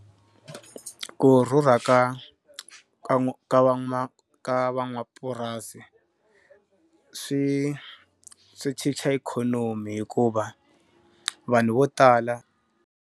Ku rhurha ka va ma ka va van'wamapurasi swi swi chicha ikhonomi hikuva vanhu vo tala.